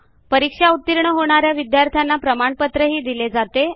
जे विद्यार्थी ऑनलाईन परीक्षा उतीर्ण होतात त्यांना प्रमाणपत्रही दिले जाते